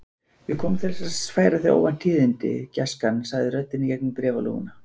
Ég kom til þess að færa þér óvænt tíðindi, gæskan sagði röddin í gegnum bréfalúguna.